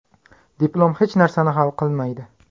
Diplom hech narsani hal qilmaydi.